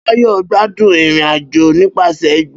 Bayo gbádùn ìrìn-àjò nípasẹ̀ igbó